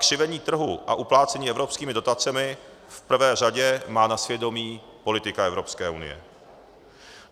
Křivení trhu a uplácení evropskými dotacemi v prvé řadě má na svědomí politika Evropské unie.